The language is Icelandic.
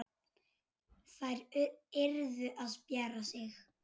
Þær yrðu að spjara sig.